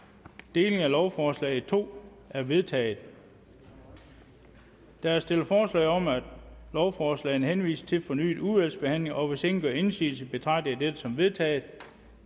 delingen af lovforslaget i to er vedtaget der er stillet forslag om at lovforslagene henvises til fornyet udvalgsbehandling og hvis ingen gør indsigelse betragter jeg dette som vedtaget